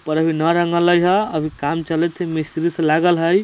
ऊपर अभी न रंगलई ह अभी काम चलइत ही मिस्त्री सब लगल हई।